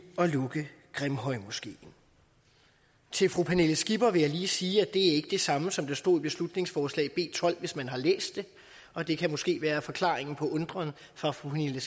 at lukke grimhøjmoskeen til fru pernille skipper vil jeg lige sige at det ikke er det samme som der stod i beslutningsforslag nummer b tolv hvis man har læst det og det kan måske være forklaringen på den undren fra fru pernille